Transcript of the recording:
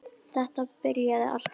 Þetta byrjaði allt þar.